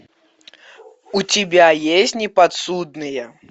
у тебя есть неподсудные